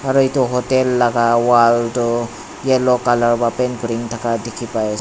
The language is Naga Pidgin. aru etu hotel laga walk toh yellow colour pa paint kurina na dekhi pai ase.